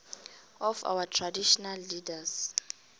of traditional leaders